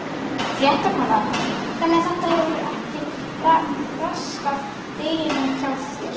Fréttakona: Þannig að þetta hefur ekki raskað deginum hjá þér?